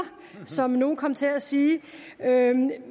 som nogle kom til at sige